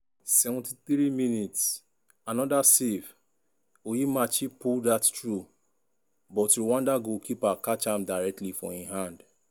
73mins-another save!!!onyemachi pull dat through but rwanda goalkeeper catch am directly for im hand.